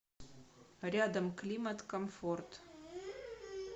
рядом климат комфорт